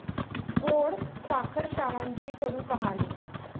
गोड साखरशाळांची कडू कहाणी!